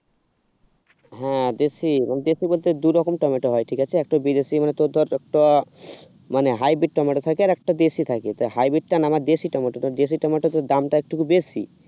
হ্যাঁ দেশি মানে দেশি বলতে দুরকম টমেটো হয় ঠিক আছে একটা বিদেশ মানে তোর ধরে একটা মানে হাই বিট টমেটো থাকে আর একটা দেশে থাকে তো হাই বিট টা না আমার দেশী টমেটো দেশী টমেটোর দামটা একটু বেশি